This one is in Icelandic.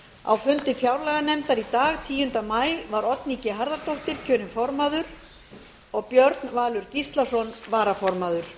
á fundi fjárlaganefndar í dag tíunda maí var oddný g harðardóttir kjörin formaður og björn valur gíslason varaformaður